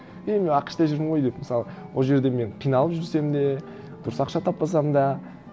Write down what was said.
е мен ақш та жүрмін ғой деп мысалы ол жерде мен қиналып жүрсем де дұрыс ақша таппасам да